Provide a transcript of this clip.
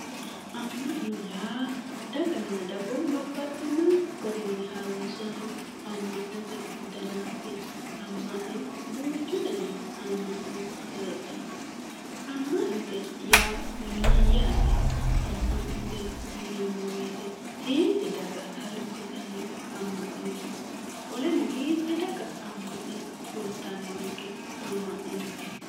Ama'no yaa daganna dagoomu babbaxino garini harunsirano ama'note dannati, ama'no duuchu danni ama'no heedhano, ama'note yaa mayate ,ama'note yinneemmo woyte hiitti daga harunsittano ama'noti qoleno hiitti daga ama'no woyyittanonke